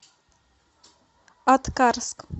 аткарск